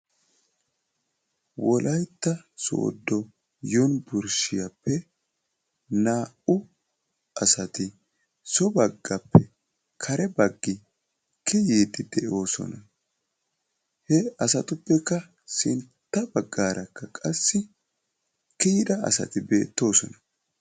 wolaytta soodo yunburshiyaappe naa"u asati so baaggappe kare baaggi kiiyidi de"oosona. He asatuppekka sintta baggaarakka qassi kiiyyida asati beettoosona.